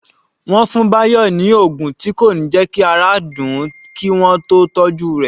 Wọ́n fún Bayo ni oògùn tí kò ní jẹ́ kí ara dùn ún kí wọ́n tó tọ́jú rẹ̀